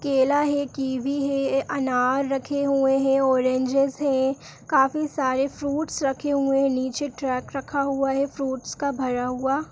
केला है कीवी है अनार रखें हुए हैं ऑरेंजेस हैं काफी सारे फ्रूटस रखें हुए हैं नीचे ट्रॅकक् रखा हुआ है फ्रूटस का भरा हुआ।